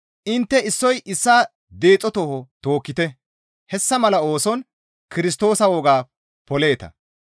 Intte issoy issaa deexo tooho tookkite; hessa mala ooson Kirstoosa wogaa poleeta.